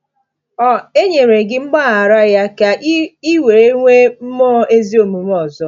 Ọ̀ enyere gị mgbaghara ya ka ị ị wee nwee mmụọ ezi omume ọzọ?